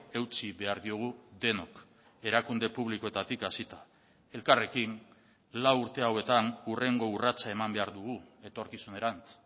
eutsi behar diogu denok erakunde publikoetatik hasita elkarrekin lau urte hauetan hurrengo urratsa eman behar dugu etorkizunerantz